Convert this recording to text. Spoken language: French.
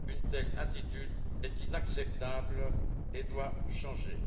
Une telle attitude est inacceptable et doit changer.